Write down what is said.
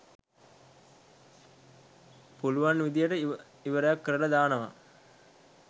පුලුවන් විදියට ඉවරයක් කරලා දානවා.